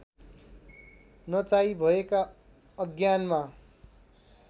नचाही भएका अज्ञानमा